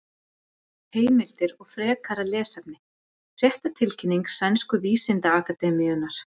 Heimildir og frekara lesefni: Fréttatilkynning Sænsku vísindaakademíunnar.